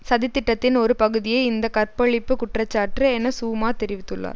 சதி திட்டத்தின் ஒரு பகுதியே இந்த கற்பழிப்பு குற்றச்சாற்று என சூமா தெரிவித்துள்ளார்